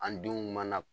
An denw mana